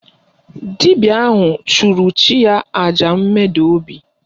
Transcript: Dibịa ahụ chụrụ chi ya àjà mmeda obi